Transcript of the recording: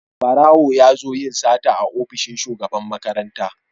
Barawo ya zo yin sata a ofishin Shugaban makaranta.